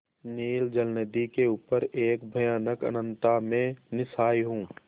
नील जलनिधि के ऊपर एक भयानक अनंतता में निस्सहाय हूँ